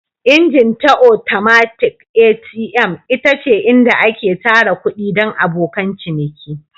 Ingin ta atomatik (ATM) ita ce inda ake tara kuɗi don abokan ciniki.